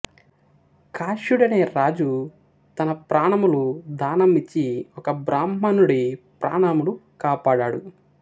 కాశ్యుడు అనే రాజు తన ప్రాణములు దానం ఇచ్చి ఒక బ్రాహ్మణుడి ప్రాణములు కాపాడాడు